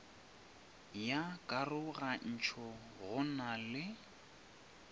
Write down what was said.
ya karogantšho go na le